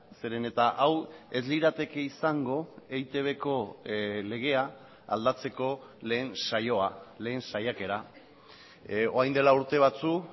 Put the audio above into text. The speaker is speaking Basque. zeren eta hau ez lirateke izango eitbko legea aldatzeko lehen saioa lehen saiakera orain dela urte batzuk